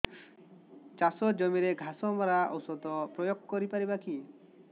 ଚାଷ ଜମିରେ ଘାସ ମରା ଔଷଧ ପ୍ରୟୋଗ କରି ପାରିବା କି